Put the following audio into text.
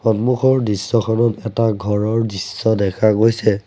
সন্মুখৰ দৃশ্যখনত এটা ঘৰৰ দৃশ্য দেখা গৈছে।